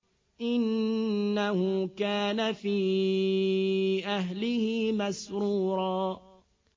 إِنَّهُ كَانَ فِي أَهْلِهِ مَسْرُورًا